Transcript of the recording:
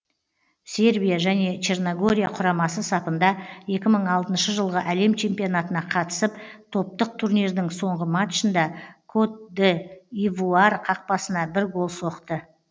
сербия және черногория құрамасы сапында екі мың алтыншы жылғы әлем чемпионатына қатысып топтық турнирдің соңғы матчында кот д ивуар қақпасына бір гол соқты